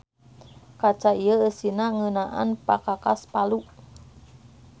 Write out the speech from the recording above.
Kaca ieu eusina ngeunaan pakakas Palu.